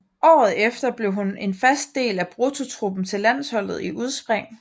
Året efter blev hun en fast del af bruttotruppen til landsholdet i udspring